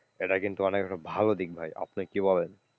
এটা কিন্তু অনেক ভালো দিক ভাই আপনি কি বলেন?